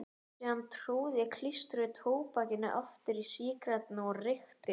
Síðan tróð ég klístruðu tóbakinu aftur í sígarettuna og reykti.